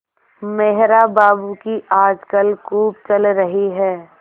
मेहरा बाबू की आजकल खूब चल रही है